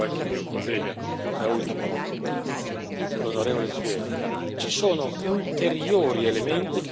Il secondo tema è quello che è stato ricordato già da qualche mio collega, da ultimo l'onorevole Zwiefka.